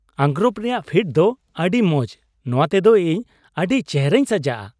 ᱟᱸᱜᱨᱚᱯ ᱨᱮᱭᱟᱜ ᱯᱷᱤᱴ ᱫᱚ ᱟᱹᱰᱤ ᱢᱚᱡ ᱾ ᱱᱚᱣᱟ ᱛᱮᱫᱚ ᱤᱧ ᱟᱹᱫᱤ ᱪᱮᱦᱨᱟᱧ ᱥᱟᱡᱟᱜᱼᱟ ᱾